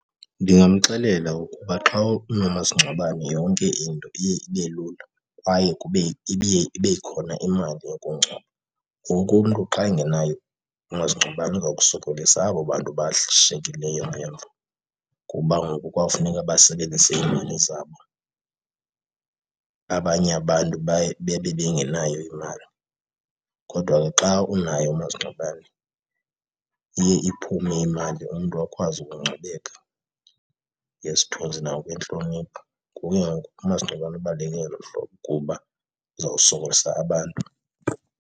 Ndingamxelela ukuba xa unomasingcwabane yonke into iye ibe lula kwaye kube ibe khona imali yokungcwaba. Ngoku umntu xa engenayo umasingcwabane uza kusokolisa abo bantu bashiyekileyo ngemva kuba ngoku kwawufuneka basebenzise iimali zabo, abanye abantu baye bebe bengenayo imali. Kodwa ke xa unaye umasingcwabane iye iphume imali umntu akwazi ukungcwabeka ngesithunzi nangokwentlonipho. Ngoku umasingcwabane ubaluleke ngelo hlobo kuba uza kusokolisa abantu.